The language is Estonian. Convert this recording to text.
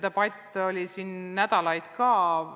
Debatt kestis siin nädalaid.